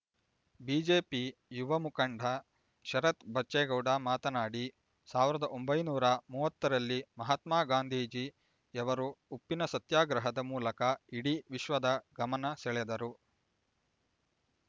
BJP ಯುವ ಮುಖಂಡ ಶರತ್ ಬಚ್ಚೇಗೌಡ ಮಾತನಾಡಿ ಸಾವಿರದ ಒಂಬೈನೂರ ಮೂವತ್ತರಲ್ಲಿ ಮಹಾತ್ಮ ಗಾಂಧೀಜಿಯವರು ಉಪ್ಪಿನ ಸತ್ಯಾಗ್ರಹದ ಮೂಲಕ ಇಡೀ ವಿಶ್ವದ ಗಮನಸೆಳೆದರು